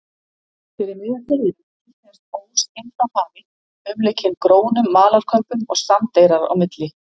Fyrir miðjum firðinum hlykkjaðist ós inn frá hafi, umlukinn grónum malarkömbum og sandeyrar á milli.